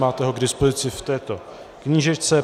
Máte ho k dispozici v této knížečce.